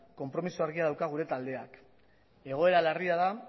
konpromiso argia dauka gure taldeak egoera larria da